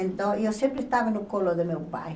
Então, eu sempre estava no colo do meu pai.